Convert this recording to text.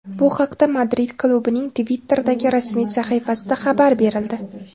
Bu haqda Madrid klubining Twitter’dagi rasmiy sahifasida xabar berildi .